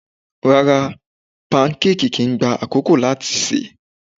Rárá, pankéèkì kìí gba àkókò láti sè.